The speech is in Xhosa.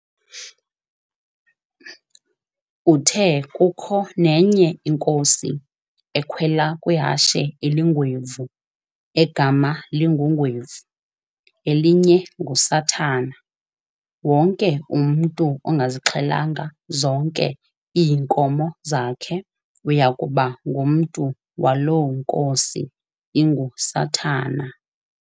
Uthe kukho nenye inkosi, ekhwela kwihashe elingwevu, egama linguNgwevu, elinye nguSathana, wonke umntu ongazixhelanga zonke iinkomo zakhe uyakuba ngumntu waloo nkosi inguSathana.